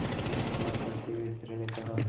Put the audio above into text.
अपने को अलग करते हुए स्त्री ने कहा